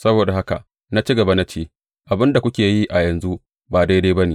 Saboda haka na ci gaba na ce, Abin da kuke yi a yanzu ba daidai ba ne.